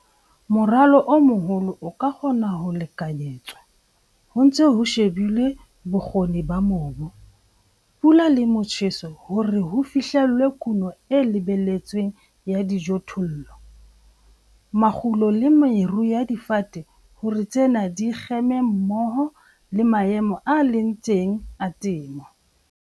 Moralo o moholo o ka kgona ho lekanyetswa ho ntse ho shebilwe bokgoni ba mobu, pula le motjheso hore ho fihlellwe kuno e lebelletsweng ya dijothollo, makgulo le meru ya difate hore tsena di kgeme mmoho le maemo a leng teng a temo.